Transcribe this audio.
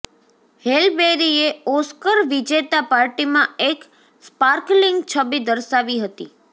હેલ બેરીએ ઓસ્કર વિજેતા પાર્ટીમાં એક સ્પાર્કલિંગ છબી દર્શાવી હતી